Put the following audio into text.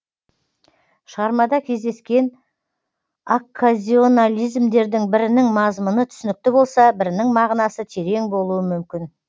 шығармада кездескен окказионализмдердің бірінің мазмұны түсінікті болса бірінің мағынасы терең болуы мүмкін